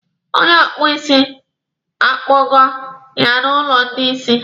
Onye kpuo isi, a kpọga ya n'ụlọ ndị isi.